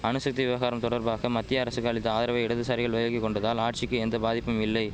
அணுசக்தி விவகாரம் தொடர்பாக மத்திய அரசுக்கு அளித்த ஆதரவை இடதுசாரிகள் விலக்கி கொண்டதால் ஆட்சிக்கு எந்த பாதிப்புமில்லை